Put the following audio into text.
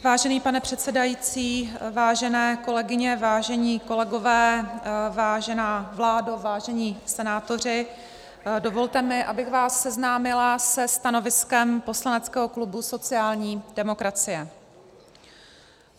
Vážený pane předsedající, vážené kolegyně, vážení kolegové, vážená vládo, vážení senátoři, dovolte mi, abych vás seznámila se stanoviskem poslaneckého klubu sociální demokracie.